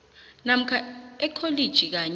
namkha ekholiji kanye